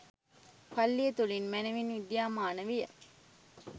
පල්ලිය තුළින් මැනවින් විද්‍යාමාන විය